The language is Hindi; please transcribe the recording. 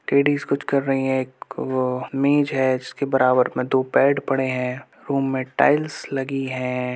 लेडीज कुछ कर रही हैं। एक अ मेज हैं उसके बराबर में दो बेड पड़े हैं। रूम मे टाइल्स लगी हैं।